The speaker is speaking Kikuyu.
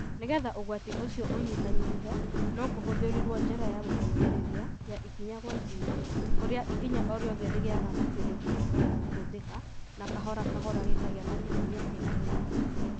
Nĩgetha ũgwati ũcio ũnyihanyihe, no kũhũthĩrũo njĩra ya gũteithĩrĩria, ya ikinya kwa ikinya, kũrĩa ikinya o rĩothe rĩgĩaga na kĩndũ kĩngĩhota kũhũthĩka na kahora kahora gĩkagĩa na kĩhonia kĩna ũritũ.